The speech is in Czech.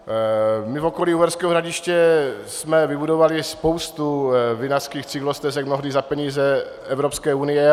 My v okolí Uherského Hradiště jsme vybudovali spoustu vinařských cyklostezek, mnohdy za peníze Evropské unie.